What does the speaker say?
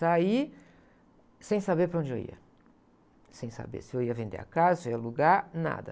Saí sem saber para onde eu ia, sem saber se eu ia vender a casa, se eu ia alugar, nada.